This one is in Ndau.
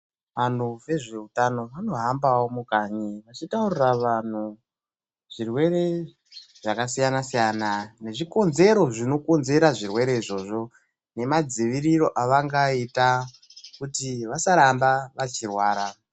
Anhu vezveutano vanohambawo mukanyi vachitaurira vanhu zvirwere zvakasiyana siyana nechikonzero zvinokonzera zvirwere izvozvo, nemadziviriro avangaita kuti vasaramba vachirwara.